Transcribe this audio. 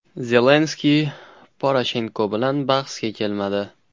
Zelenskiy Poroshenko bilan bahsga kelmadi.